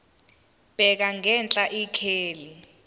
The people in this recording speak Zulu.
bheka ngenhla ikheli